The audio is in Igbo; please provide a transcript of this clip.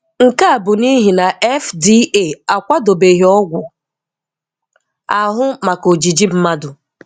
Nke a bụ n'ihi na FDA akwadobeghị ọgwụ ahụ maka ojiji mmadụ.